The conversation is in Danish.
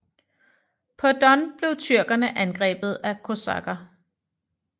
På Don blev tyrkerne angrebet af kosakker